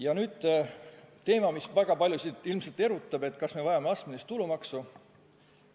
Ja nüüd teema, mis ilmselt väga paljusid erutab: kas me vajame astmelist tulumaksu?